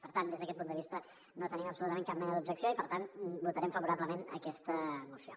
per tant des d’aquest punt de vista no tenim absolutament cap mena d’objecció i per tant votarem favorablement aquesta moció